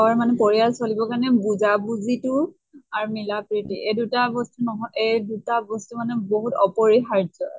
ৰৰ মানে পৰিয়াল চলিব কাৰণে বুজা বুজি তো আৰু মিলা প্ৰিতি এই দুটা বস্তু নহয় এই দিটা বস্তু মানে বহুত আপৰিহাৰ্য